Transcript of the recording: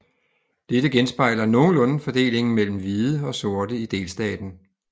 Dette genspejler nogenlunde fordelingen mellem hvide og sorte i delstaten